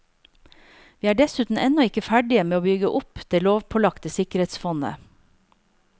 Vi er dessuten ennå ikke ferdige med å bygge opp det lovpålagte sikkerhetsfondet.